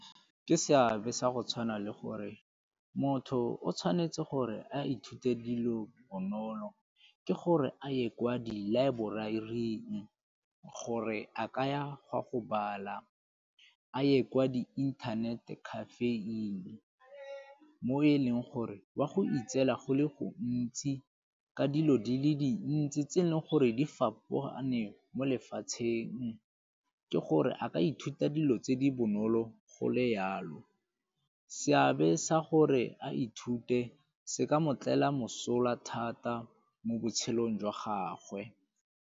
Ke seabe sa go tshwana le gore motho o tshwanetse gore a ithute dilo bonolo ke gore a ye kwa di laeboraring gore a kaya go a go bala, a ye kwa di-internet cafe-ing mo e leng gore o a go itseela go le go ntsi ka dilo di le dintsi tse e leng gore di fapogane mo lefatsheng. Ke gore a ka ithuta dilo tse di bonolo go le yalo. Seabe sa gore a ithute se ka mo tlela mosola thata mo botshelong jwa gagwe.